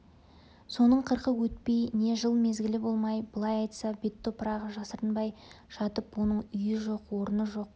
соның қырқы өтпей не жыл мезгілі болмай былай айтса бет топырағы жасырынбай жатып оның үйі жоқ орны жоқ